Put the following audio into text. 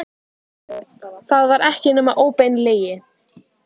Það var ekki nema óbein lygi.